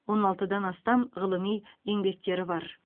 он алтыдан астам ғылыми еңбектері бар